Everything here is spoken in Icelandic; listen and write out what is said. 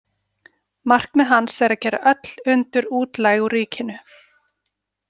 Markmið hans er að gera öll undur útlæg úr ríkinu.